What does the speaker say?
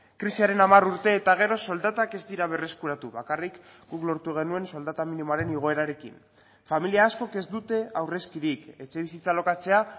krisiaren hamar urte eta gero soldatak ez dira berreskuratu bakarrik guk lortu genuen soldata minimoaren igoerarekin familia askok ez dute aurrezkirik etxebizitza alokatzea